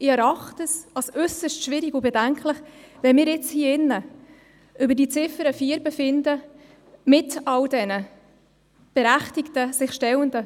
Ich erachte es als äusserst schwierig und bedenklich, trotz all der berechtigten Fragen und Ungewissheiten über die Ziffer 4 zu befinden.